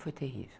Foi terrível.